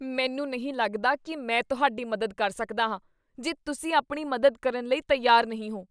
ਮੈਨੂੰ ਨਹੀਂ ਲੱਗਦਾ ਕੀ ਮੈਂ ਤੁਹਾਡੀ ਮਦਦ ਕਰ ਸਕਦਾ ਹਾਂ ਜੇ ਤੁਸੀਂ ਆਪਣੀ ਮਦਦ ਕਰਨ ਲਈ ਤਿਆਰ ਨਹੀਂ ਹੋ।